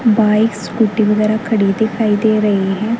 Bike scooty वगैरा खड़ी दिखाई दे रही है।